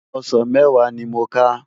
Òsán mèwá ni mó ká